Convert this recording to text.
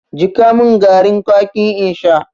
Jiƙa mun garin kwaki in sha!